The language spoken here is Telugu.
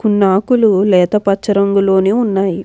కొన్ని ఆకులు లేత పచ్చ రంగులోనే ఉన్నాయి.